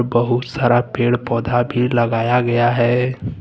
बहुत सारा पेड़ पौधा भी लगाया गया है।